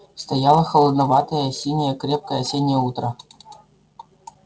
стояло холодноватое синее крепкое осеннее утро